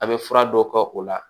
A' be fura dɔ kɛ o la